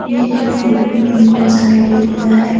ये ए फोटो में रोड साइड एरिया है।